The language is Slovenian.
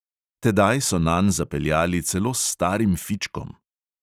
Tedaj so nanj zapeljali celo s starim fičkom.